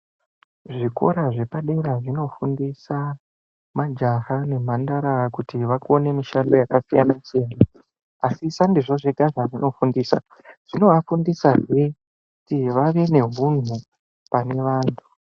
Zvikora zvepadera zvinofundisa majaha nemhandara kuti vakone mishando yakasiyana-siyana. Asi sandizvo zvega zvazvinofundisa zvinovafundisazve kuti vave nehunhu pane vantu.